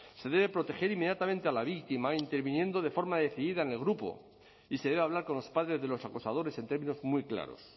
se debe proteger inmediatamente a la víctima interviniendo de forma decidida en el grupo y se debe hablar con los padres de los acosadores en términos muy claros